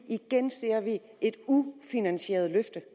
igen ser et ufinansieret løfte